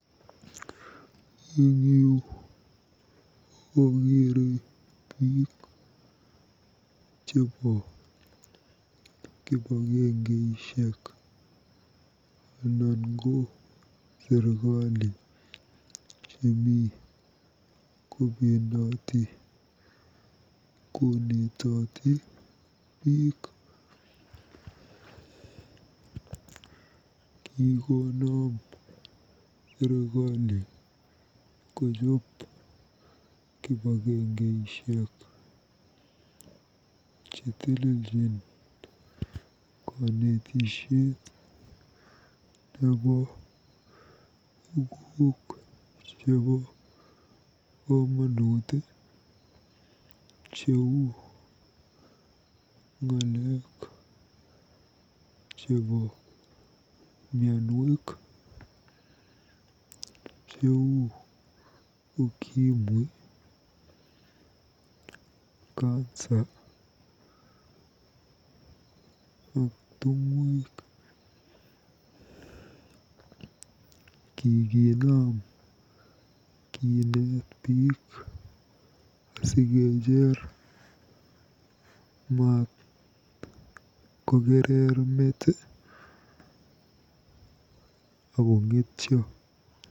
Eng yu akeere biik chebo kipagengeishek anan ko serikali chemi kobendoti konetoti biik. Kikonaam serikali kojoob kipagengeishek chetelejin konetishet nebo tuguk chebo komonut cheu ng'alek chebo mianwek cheu Ukimwi, Cancer ak tungwek. Kikinam kineet biik asikejer matkokerer meet akong'etyo.